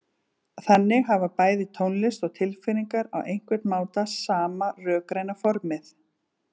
Þannig hafa bæði tónlist og tilfinningar á einhvern máta sama rökræna formið.